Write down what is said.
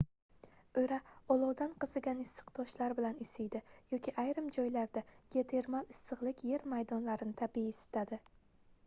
oʻra olovdan qizigan issiq toshlar bilan isiydi yoki ayrim joylarda geotermal issiqlik yer maydonlarini tabiiy isitadi